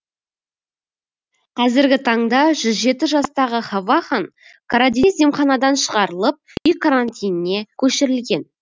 қазіргі таңда жүз жеті жастағы хавахан карадениз емханадан шығарылып үй карантиніне көшірілген